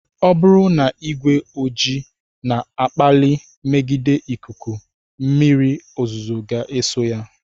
Ọ bụrụ na ìgwè ojii na-akpali mmegide ikuku mmírí ozuzo ga eso ya.